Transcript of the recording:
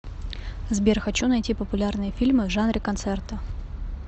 сбер хочу найти популярные фильмы в жанре концерта